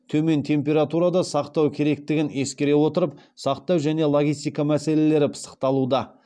төмен температурада сақтау керектігін ескере отырып сақтау және логистика мәселелері пысықталуда